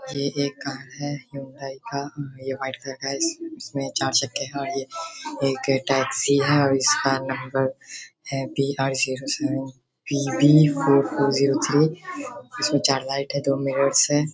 ये एक कार है हुंडई का | ये व्हाइट कलर का है और इसमें चार चक्के हैं और यह एक टैक्सी है और इसका नंबर है B R zero zero seven P B four four zero three. इसमें चार लाइट हैं दो मिरर्स हैं।